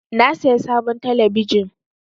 Na saya sabon talabijin.